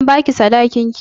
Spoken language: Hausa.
An ba ki sadakin ki?